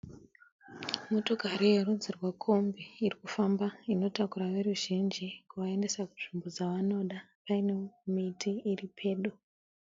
Motokari yerudzi rwekombi irikufamba inotakura veruzhinji kuvaendesa kunzvimbo dzavanoda pane miti iri pedo.